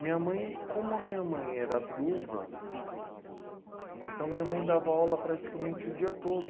Minha mãe, como a minha mãe era viúva, então minha mãe dava aula praticamente o dia todo.